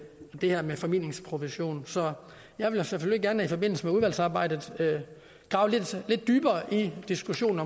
her med formidlingsprovision så jeg vil selvfølgelig gerne i forbindelse med udvalgsarbejdet grave lidt dybere i diskussionen